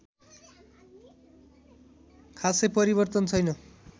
खासै परिवर्तन छैन्